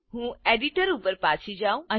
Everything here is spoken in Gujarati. ચાલો હું એડિટર ઉપર પાછી જાઉં